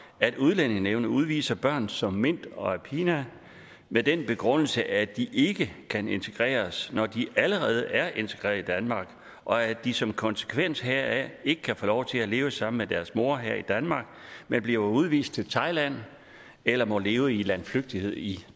at udlændingenævnet udviser børn som mint og aphinya med den begrundelse at de ikke kan integreres når de allerede er integreret i danmark og at de som konsekvens heraf ikke kan få lov til at leve sammen deres mor her i danmark men bliver udvist til thailand eller må leve i landflygtighed i